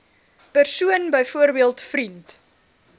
persoon byvoorbeeld vriend